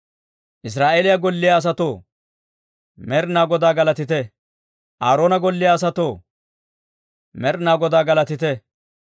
Israa'eeliyaa golliyaa asatoo, Med'inaa Godaa galatite; Aaroona golliyaa asatoo, Med'inaa Godaa galatite;